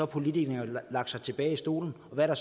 politikerne sat sig tilbage i stolen og hvad er